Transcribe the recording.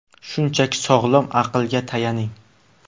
Shunchaki, sog‘lom aqlga tayaning.